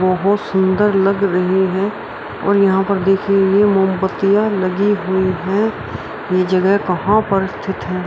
बहुत सुंदर लग रही हैं और यहाँ पर देखिए ये मोमबत्तियाँ लगी हुई हैं ये जगह कहाँ पर स्थित है।